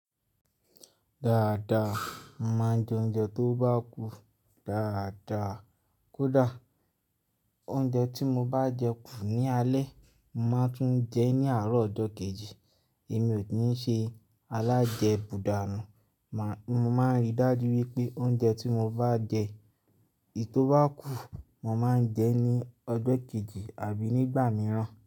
Dáadáa, mo máa ń jẹ oúnjẹ tó bá kù. Dáadáa kódà oúnjẹ tí mo bá jẹ kù ní alẹ́, mo máa tún jẹ ẹ́ ní àárọ̀ ọjọ́ kejì. Èmi ò kí n ṣe alájẹbùdànù. Mo máa ń ríi dájú wípé oúnjẹ tí mo bá jẹ, èyí tó bá kù, mo máa ń jẹ ẹ́ ní ọjọ́ kejì àbí nígbà mìíràn.